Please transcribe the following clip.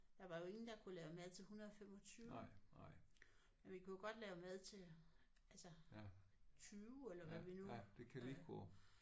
Der var jo ingen der kunne lave mad til 125. Men vi kunne jo godt lave mad til altså 20 eller hvad vi nu